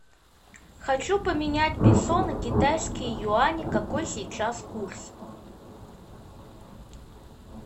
хочу поменять песо на китайские юани какой сейчас курс